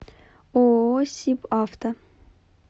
ооо сибавто